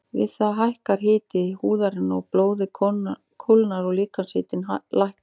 Við það hækkar hiti húðarinnar og blóðið kólnar og líkamshitinn lækkar.